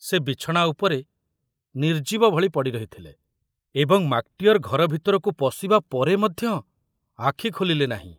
ସେ ବିଛଣା ଉପରେ ନିର୍ଜୀବ ଭଳି ପଡ଼ି ରହିଥିଲେ ଏବଂ ମାକଟିଅର ଘର ଭିତରକୁ ପଶିବା ପରେ ମଧ୍ୟ ଆଖୁ ଖୋଲିଲେ ନାହିଁ।